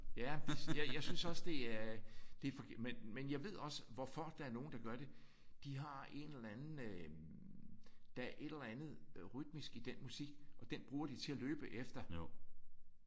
Ja jeg synes også det er det er men men jeg ved også hvorfor der er nogen der gør det. De har en eller anden øh der er et eller andet rytmisk i den musik og det bruger de til at løbe efter